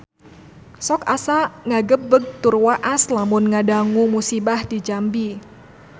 Sok asa ngagebeg tur waas lamun ngadangu musibah di Jambi